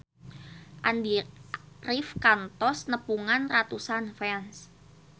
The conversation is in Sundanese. Andy rif kantos nepungan ratusan fans